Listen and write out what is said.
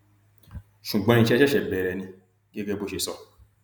ṣùgbọn iṣẹ ṣẹṣẹ bẹrẹ ni gẹgẹ bó ṣe sọ